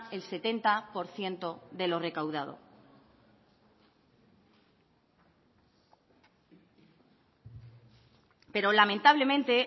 el setenta por ciento de lo recaudado pero lamentablemente